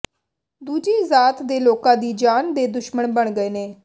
ਦੂਜੀ ਜ਼ਾਤ ਦੇ ਲੋਕਾਂ ਦੀ ਜਾਨ ਦੇ ਦੁਸ਼ਮਣ ਬਣ ਗਏ ਨੇ